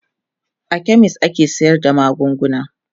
a chemist ake sayar da magunguna